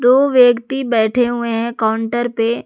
दो व्यक्ति बैठे हुए हैं काउंटर पे।